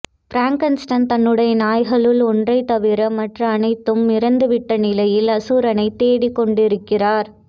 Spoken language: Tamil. ஃபிராங்கண்ஸ்டைன் தன்னுடைய நாய்களுள் ஒன்றைத் தவிர மற்ற அனைத்தும் இறந்துவிட்ட நிலையில் அசுரனைத் தேடிக்கொண்டிருக்கிறார்